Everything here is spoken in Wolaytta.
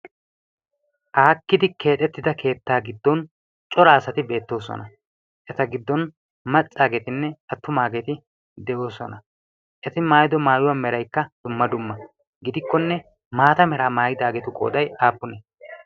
aakkidi keexettida keettaa giddon cora asati beettoosona eta giddon maccaageetinne attumaageeti de7oosona eti maayido maayuwaa meraikka dumma dumma gidikkonne maata meraa maayidaageetu qoodai aappunii